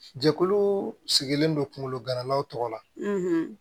Jɛkulu sigilen don kungolo ganalaw tɔgɔ la